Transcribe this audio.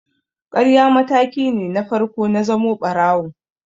Ƙarya mataki na farko ne na zamo ɓarawo.